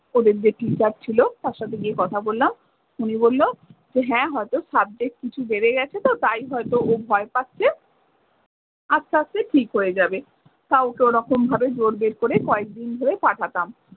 ওদের যে teacher ছিল তার সাথে গিয়ে কথা বললাম। উনি বললো হ্যাঁ হয়তো subject কিছু বেড়ে গেছে তো তাই হয়তো ও ভয় পাচ্ছে, আস্তে আস্তে ঠিক হয়ে যাবে। তাও ওকে ওরকম ভাবে জোর বের করে কয়েক দিন ধরে পাঠাতাম।